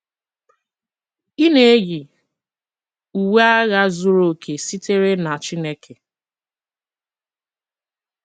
Ị na-eyi, uwe agha zuru oke sitere na Chineke